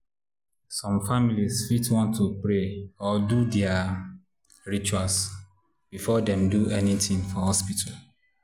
some families fit want to pray or do their rituals before dem do anything for hospital.